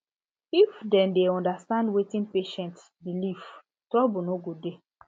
if dem dey understand wetin patient belief trouble no go dey